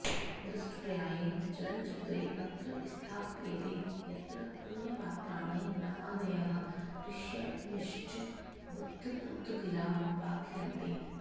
दृष्टप्राये चलनचित्रे अत्र स्थाप्येते यत्र पुण्यपात्राणि रामादयः ऋषयश्च बुद्बुधगिरा प्रार्थयन्ते